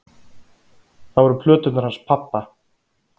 Það voru plöturnar hans pabba.